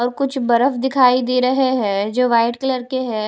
और कुछ बर्फ दिखाई दे रहे हैं जो वाइट कलर के हैं।